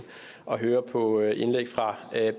og høre på indlæg fra